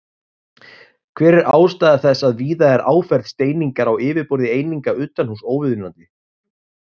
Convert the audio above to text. Hver er ástæða þess að víða er áferð steiningar á yfirborði eininga utanhúss óviðunandi?